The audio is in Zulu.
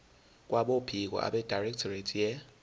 kwabophiko abedirectorate ye